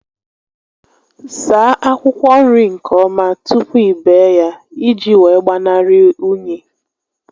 Saa akwụkwọ nri nke ọma tupu i bee ya ị ji wee gbanarị únyí